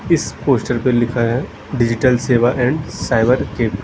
इस पोस्टर पे लिखा है डिजिटल सेवा एंड साइबर के--